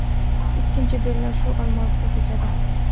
Ikkinchi bellashuv Olmaliqda kechadi.